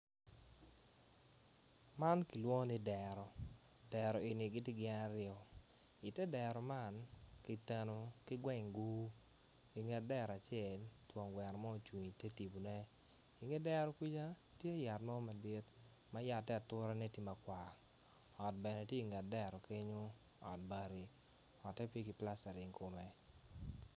Man kilwongo ni dero dero eni gitye gin aryo i ter dero man kiteno ki gweng gur inget dero acel twong gweno mo ocung i ter tipo ne inge dero kuca tye yat mo madit mayate ature ne tye makwar ot bene tye i nget dero kenyo ot bati ote peki plastaring kome.